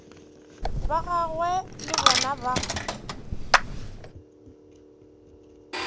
ba gagwe le bona ba